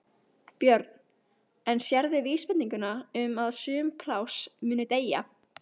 Björn: En sérðu vísbendingu um að sum pláss muni deyja?